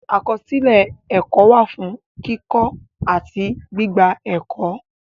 Akọsilẹ ẹkọ wa fun kikọ ati gbigba ẹkọ.